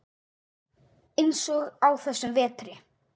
Eins og á þessum vetri.